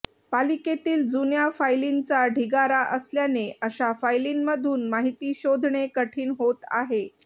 पालिकेतील जुन्या फायलींचा ढिगारा असल्याने अशा फायलींमधून माहिती शोधणे कठीण होत आहे